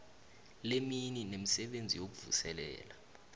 lemini nemisebenzi yokuvuselela